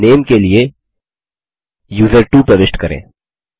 अब नेम के लिए यूजर्टवो प्रविष्ट करें